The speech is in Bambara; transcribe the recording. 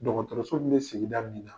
Dɔgɔtɔrɔso min bɛ sigida de la.